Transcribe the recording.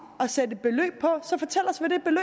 at sætte et beløb på så fortæl